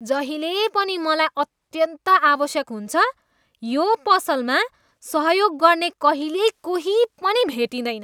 जहिले पनि मलाई अत्यन्त आवश्यक हुन्छ यो पसलमा सहयोग गर्ने कहिल्यै कोही पनि भेटिँदैन।